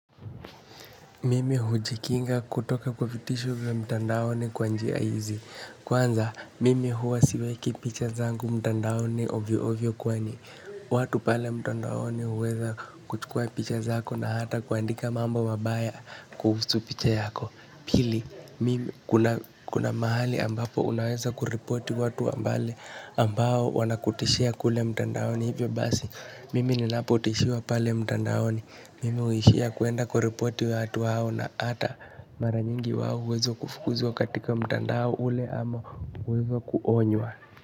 Mimi hujikinga kutoka kwa vitisho vya mtandaoni kwa njia hizi. Kwanza, mimi huwa siweki picha zangu mtandaoni ovyo ovyo kwani. Watu pale mtandaoni huweza kuchukua picha zako na hata kuandika mambo mabaya kuhusu picha yako. Pili, mimi kuna mahali ambapo unaweza kureporti watu ambao wanakutishia kule mtandaoni. Hivyo basi mimi ninapotishiwa pale mtandaoni mimi huiishia kuenda kurepoti wahao na hata mara nyingi wao huweza wakafukuzwa.